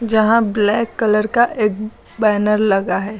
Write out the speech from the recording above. जहां black colour का एक बैनर लगा है।